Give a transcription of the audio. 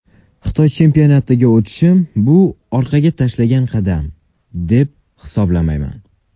Xitoy chempionatiga o‘tishim bu orqaga tashlangan qadam, deb bilmayman.